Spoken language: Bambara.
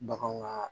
Bagan ka